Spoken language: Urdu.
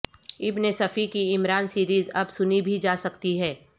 ابن صفی کی عمران سیریز اب سنی بھی جا سکتی ہے